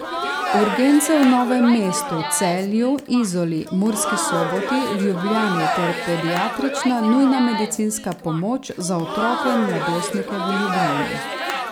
Urgence v Novem mestu, Celju, Izoli, Murski Soboti, Ljubljani ter Pediatrična nujna medicinska pomoč za otroke in mladostnike v Ljubljani.